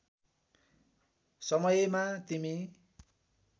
समयमा तिमी